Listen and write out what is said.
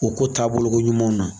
O ko taabolokoɲuman ma